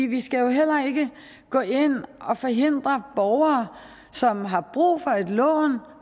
vi skal jo heller ikke gå ind og forhindre borgere som har brug for lån